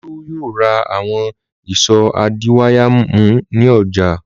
Olú yóò ra àwọn ìṣó adiwáyàmú ní ọjà.